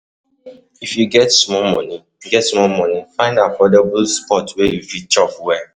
If you get small money, get small money, find affordable spot where you fit chop well.